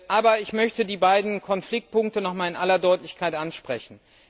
Aber ich möchte die beiden Konfliktpunkte noch einmal in aller Deutlichkeit ansprechen.